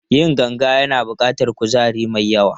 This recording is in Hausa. Yin ganga yana buƙatar kuzari mai yawa.